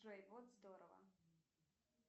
джой вот здорово